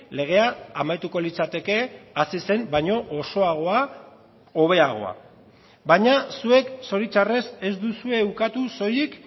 legea amaituko litzateke hasi zen baino osoagoa hobeagoa baina zuek zoritzarrez ez duzue ukatu soilik